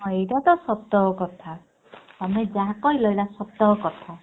ହଁ ଏଇଟା ତ ସତ କଥା ତମେ ଯାହା କହିଲ ଏଟା ସତ କଥା।